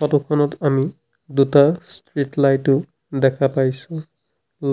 photo খনত আমি দুটা ষ্ট্ৰিট লাইটো দেখা পাইছোঁ